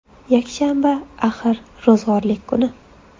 Yakshanba, axir, ro‘zg‘orlik kuni.